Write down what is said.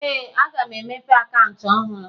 Ee, aga m emepe akaụntụ ọhụrụ